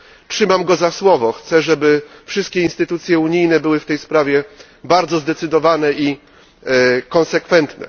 Trzymam go za słowo, chcę, żeby wszystkie instytucje unijne były w tej sprawie bardzo zdecydowane i konsekwentne.